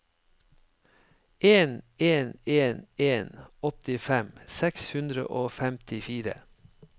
en en en en åttifem seks hundre og femtifire